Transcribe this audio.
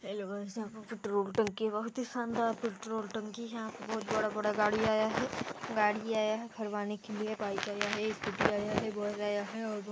hello guys यहाँ पर petrol टंकी बहुत ही शानदार पेट्रोल टंकी हैं यहाँ पर बहुत बड़ा बड़ा गाड़ी आया हैं गाड़ी आया हैं भरवाने के लिए बाइक आया हैं स्कूटी आया हैं बस आया हैं और बहुत --